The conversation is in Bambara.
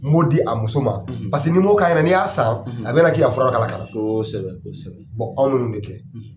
N b'o di a muso ma, , paseke ni m'o k'a ɲɛna n'i y'a san, , a bɛna k'i k'a fura dɔ k'a la ka kosɛbɛ, kosɛbɛ, anw be ninnu de kɛ,